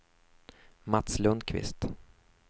Mats Lundqvist